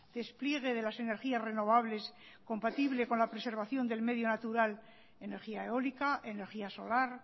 despliegue de las energías renovables compatible con la preservación del medio natural energía eólica energía solar